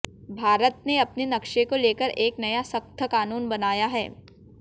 भारत ने अपने नक्शे को लेकर एक नया शख्त कानून बनाया है